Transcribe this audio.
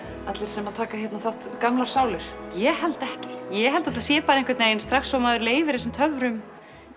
allir sem taka hérna þátt gamlar sálir ég held ekki ég held að þetta sé einhvern veginn strax og maður leyfir þessum töfrum